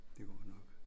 Det går nok